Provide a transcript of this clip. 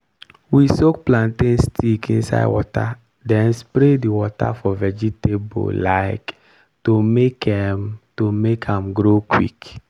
we soak plantain stick inside water then spray the water for vegetable um to make um to make am grow quick.